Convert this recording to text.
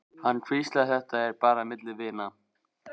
Hann hvíslar, þetta er bara milli vina.